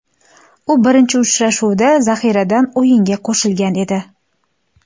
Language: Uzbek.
U birinchi uchrashuvda zaxiradan o‘yinga qo‘shilgan edi.